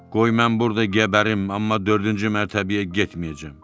Qoy mən burda gəbərim, amma dördüncü mərtəbəyə getməyəcəm.